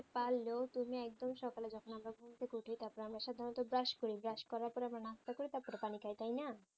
তুমি একদম সকালে যখন আমরা ঘুম থেকে উঠি তারপর আমরা সাধারণত brush করি brush করার পর আমরা নাস্তা করি তারপরে পানি খাই তাইনা